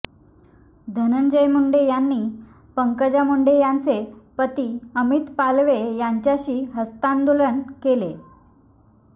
धनंजय मुंडे यांनी पंकजा मुंडे यांचे पती अमित पालवे यांच्याशी हस्तांदोलन केले